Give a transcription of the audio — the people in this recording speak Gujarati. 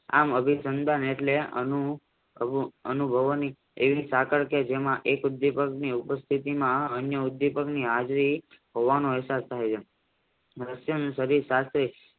આમ અભિસંદન એટલે અનુભવોની એવી સાકળ કે જેમાં એક ઉદ્વિપકની ઉત્પત્તિમાં અન્યઉદીપકની હાજરી હોવાનો અહેસાસ તાહ્ય છે